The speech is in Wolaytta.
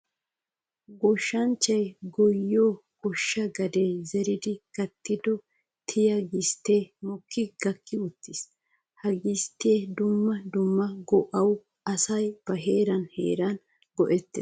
Goshshanchchay goyiyo goshsha gade zeriddi gattiddo tiya gistte mokkiddi gakki uttiis. Ha gisttiya dumma dumma go'awu asay ba heera heeran go'ettes.